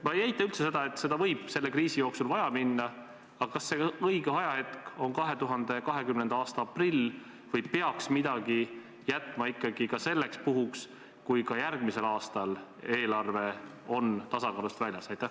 Ma ei eita üldse võimalust, et seda võib selle kriisi jooksul vaja minna, aga kas see õige ajahetk on ikka 2020. aasta aprill või äkki peaks midagi jätma ka selleks puhuks, kui järgmise aasta eelarve on tasakaalust väljas?